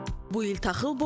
Bu il taxıl boldur.